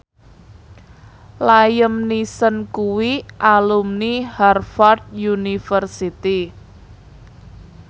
Liam Neeson kuwi alumni Harvard university